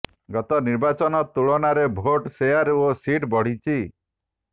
ଗତ ନିର୍ବାଚନ ତୁଳନାରେ ଭୋଟ ଶେୟାର ଓ ସିଟ୍ ବଢ଼ିଛି